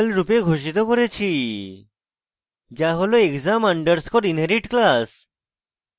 public variable রূপে ঘোষিত করেছি যা হল exam আন্ডারস্কোর inherit class